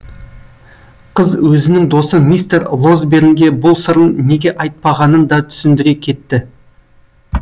қыз өзінің досы мистер лосбернге бұл сырын неге айтпағанын да түсіндіре кетті